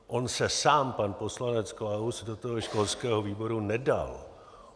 On se sám pan poslanec Klaus do toho školského výboru nedal.